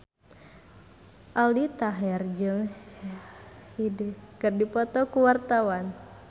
Aldi Taher jeung Hyde keur dipoto ku wartawan